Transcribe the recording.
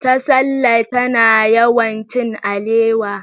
Tasalla tana yawan cin alewa.